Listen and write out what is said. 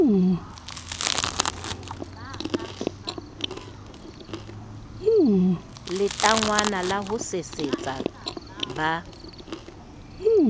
letangwana la ho sesetsa ba